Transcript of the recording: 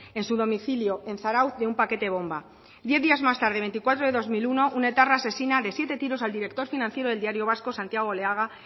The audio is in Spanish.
en su domicilio en zarautz de un paquete bomba diez días más tarde veinticuatro de dos mil uno un etarra asesina de siete tiros al director financiero del diario vasco santiago oleaga